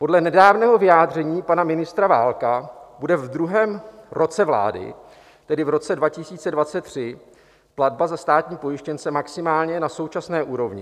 Podle nedávného vyjádření pana ministra Válka bude ve druhém roce vlády, tedy v roce 2023, platba za státní pojištěnce maximálně na současné úrovni.